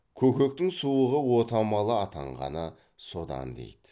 көкектің суығы отамалы атанғаны содан дейді